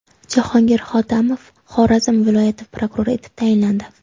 Jahongir Hotamov Xorazm viloyati prokurori etib tayinlandi.